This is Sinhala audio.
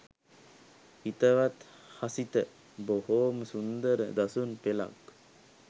හිතවත් හසිත බොහෝම සුන්දර දසුන් පෙලක්